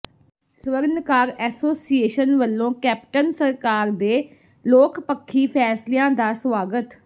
ਸਵਰਨਕਾਰ association ਵੱਲੋਂ Captain ਸਰਕਾਰ ਦੇ ਲੋਕ ਪੱਖੀ ਫ਼ੈਸਲਿਆਂ ਦਾ ਸਵਾਗਤ